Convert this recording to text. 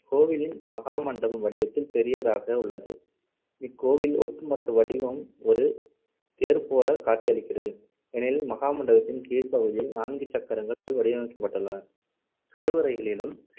கோவிலின் மகாமண்டபம் வடிவத்தில் பெரியதாக உள்ளது. இக்கோவில் ஒட்டுமொத்த வடிவம் ஒரு தேர்போலக் காட்சியளிக்கிறது. எனில் மகாமண்டபத்தின் கீழ்ப்பகுதியில் நான்கு சக்கரங்கள் வடிவமைக்கப்பட்டுள்ளன. கருவறைகளிலும்